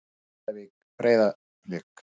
Grindavík- Breiðablik